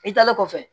I taalen kɔfɛ